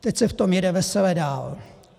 Teď se v tom jede vesele dál.